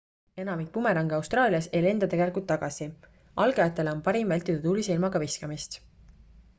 enamik bumerange austraalias ei lenda tegelikult tagasi algajatele on parim vältida tuulise ilmaga viskamist